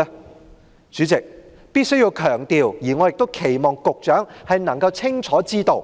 代理主席，我必須強調，我亦期望局長能夠清楚知道，